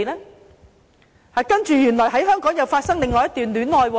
然後又在香港發生另一段戀情。